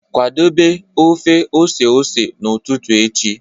Kwadebe ọfe ọse ọse n'ụtụtụ echi